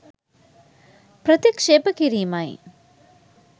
ප්‍රතික්ෂේප කිරීමයි